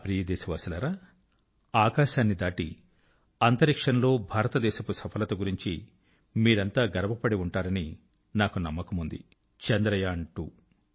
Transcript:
నా ప్రియ దేశవాసులారా ఆకాశాన్ని దాటి అంతరిక్షంలో భారతదేశపు సఫలత గురించి మీరంతా గర్వపడి ఉంటారని నాకు నమ్మకం ఉంది చంద్రయాన్2